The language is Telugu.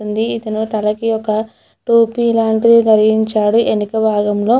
ఉంది ఇతను తలకి ఒక టోపీ లాంటిది ధరించాడు ఎనుక భాగంలో.